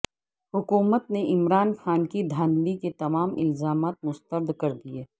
حکومت نے عمران خان کے دھاندلی کے تمام الزامات مسترد کردیے